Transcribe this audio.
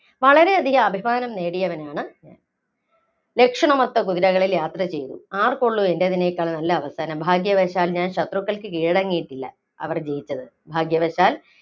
വളരെയധികം അഭിമാനം നേടിയവനാണ്. ലക്ഷണമൊത്ത കുതിരകളില്‍ യാത്ര ചെയ്തു. ആര്‍ക്കുള്ളൂ എന്‍റേതിനെക്കാള്‍ നല്ല അവസാനം? ഭാഗ്യവശാല്‍ ഞാന്‍ ശത്രുക്കള്‍ക്ക് കീഴടങ്ങിയിട്ടില്ല. അവര്‍ ജയിച്ചത് ഭാഗ്യവശാല്‍